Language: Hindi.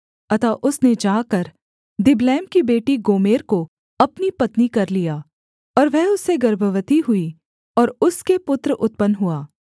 अतः उसने जाकर दिबलैम की बेटी गोमेर को अपनी पत्नी कर लिया और वह उससे गर्भवती हुई और उसके पुत्र उत्पन्न हुआ